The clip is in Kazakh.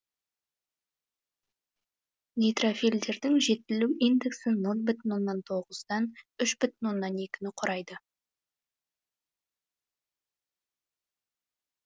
нейтрофильдердің жетілу индексі нөл бүтін оннан тоғыздан үш бүтін оннан екіні құрайды